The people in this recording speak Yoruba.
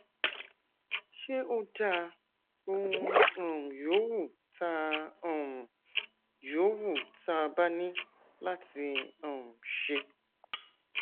ṣé ó dáa ohun um yòówù tá um yòówù tá a bá ní láti um ṣe